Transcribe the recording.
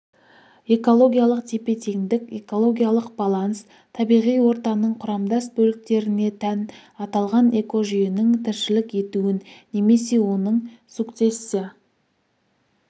экологиялық тепе-теңдік экологиялық баланс табиғи ортаның құрамдас бөліктеріне тән аталған экожүйенің тіршілік етуін немесе оның сукцессия